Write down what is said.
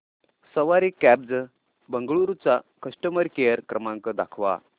सवारी cabs Bengaluru चा customer care क्रमांक दाखवा